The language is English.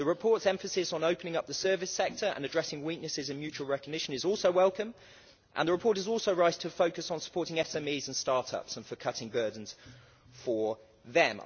The report's emphasis on opening up the service sector and addressing weaknesses in mutual recognition is also welcome, and the report is also right to focus on supporting SMEs and start ups and cutting burdens for them.